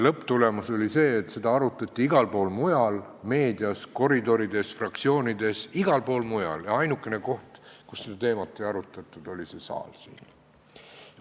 Lõpptulemus oli see, et seda arutati igal pool mujal, meedias, koridorides, fraktsioonides, ja ainukene koht, kus seda teemat ei arutatud, oli see saal siin.